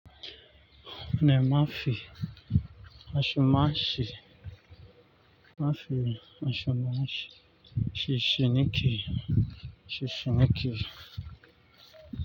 Nima fi, ashe ma shi, ma fi ashe ma shi, shi shi ni ke, shi shi ni ke.